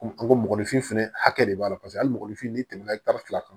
Komi an ko mɔgɔninfin fana hakɛ de b'a la paseke hali mɔgɔnifin n'i tɛmɛ na fila kan